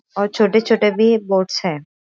और छोटे छोटे भी बोट्स है।